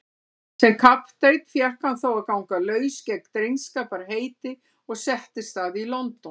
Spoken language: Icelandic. Sem kapteinn fékk hann þó að ganga laus gegn drengskaparheiti og settist að í London.